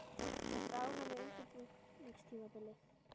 Ertu ánægð með undirbúningstímabilið?